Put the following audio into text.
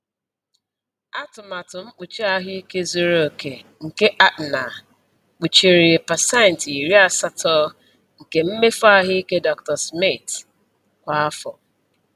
Atụmatụ mkpuchi ahụike zuru oke nke Aetna kpuchiri pecenti iri asato nke mmefu ahụike Dr. Smith kwa afọ.